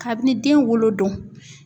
Kabini den wolo don.